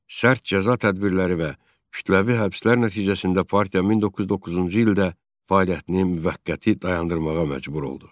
Sərt cəza tədbirləri və kütləvi həbslər nəticəsində partiya 1909-cu ildə fəaliyyətini müvəqqəti dayandırmağa məcbur oldu.